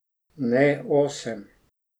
Ne, osem.